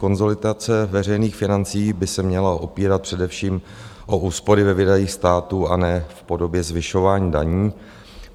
Konsolidace veřejných financí by se měla opírat především o úspory ve výdajích státu, a ne v podobě zvyšování daní.